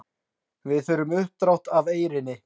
Við þurfum uppdrátt af Eyrinni.